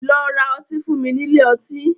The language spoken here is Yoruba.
Lọ ra ọtí fún mi nílé ọtí.